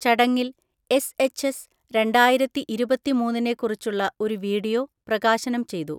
ചടങ്ങിൽ S H S രണ്ടായിരത്തിഇരുപത്തിമൂന്നിനെക്കുറിച്ചുള്ള ഒരു വീഡിയോ പ്രകാശനം ചെയ്തു.